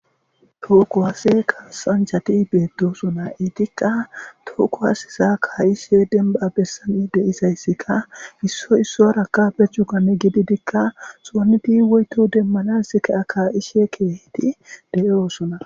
Toho kuwas3 kaasanchati beetosona. Eetika toho kuwaseza ka'ishe demba bessan di'izaysika issoy issaaraka be cugan gididika xoonidi woyto demmanaasika kaa'ishe de'osona.